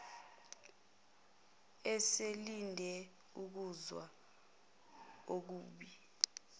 eselinde ukuzwa okubi